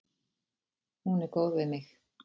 Hún er góð við mig.